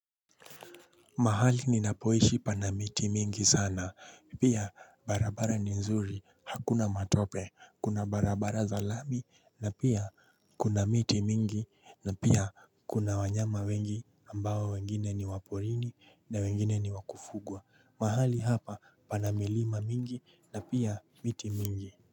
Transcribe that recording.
Mahali ninapoishi panamiti mingi sana, pia barabara ni nzuri hakuna matope, kuna barabara za lami na pia kuna miti mingi na pia kuna wanyama wengi ambao wengine ni waporini na wengine ni wakufugwa. Mahali hapa, pana milima mingi na pia miti mingi.